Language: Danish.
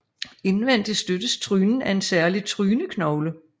Indvendig støttes trynen af en særlig tryneknogle